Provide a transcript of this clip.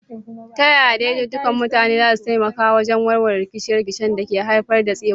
Ta yaya daidaikun mutane za su taimaka wajen warware rikice-rikicen da ke haifar da tsegumi?